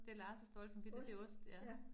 Det Lars' dårlige samvittighed, det ost ja